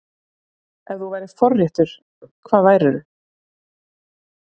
Ef þú værir forréttur, hvað værir þú?